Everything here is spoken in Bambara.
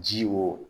Ji wo